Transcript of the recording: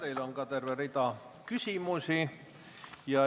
Teile on terve rida küsimusi.